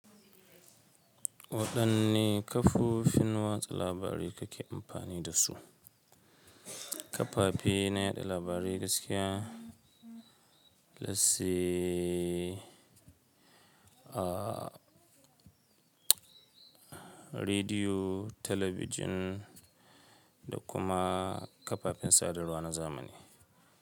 Waɗanne kafofin watsa labari kake amfani da su? Kafafe na yaɗa labarai gaskiya, let's say a, rediyo, talabijin da kuma kafafen sadarwa na zamani.